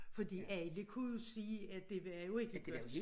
Fordi alle kunne jo se at det var jo ikke godt